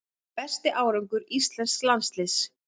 Besti árangur íslensks landsliðs